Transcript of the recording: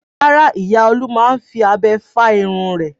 Rárá, ìyá Olú máa ń fi abẹ fá irun rẹ̀.